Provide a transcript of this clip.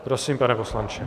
Prosím, pane poslanče.